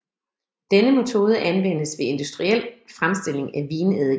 Denne metode anvendes ved industriel fremstilling af vineddike